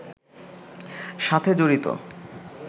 সাথে জড়িত